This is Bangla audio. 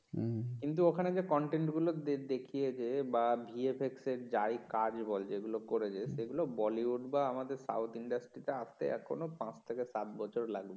হম কিন্তু ওখানে যে content গুলো দেখিয়েছে বা ভি এফ এক্স এর যাই কাজ বল যেগুলো করেছে সেগুলো বলিউড বা আমাদের সাউথ ইন্ডাস্ট্রিতে আসতে এখনো পাঁচ থেকে সাত বছর লাগবে